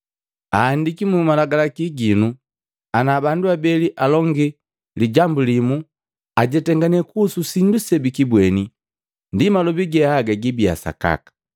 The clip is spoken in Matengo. Ahandiki mu Malagalaki ginu ana bandu abeli alongi lijambu limu ajetangane kuhusu sindu sebikibweni ndi malobi ge aga gibia gasakaka.